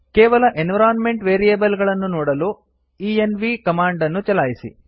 ಕೇವಲ environment variable ಗಳನ್ನು ನೋಡಲು ಎನ್ವ್ ಕಮಾಂಡ್ ಅನ್ನು ಚಲಾಯಿಸಿ